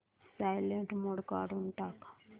silent mode काढून टाक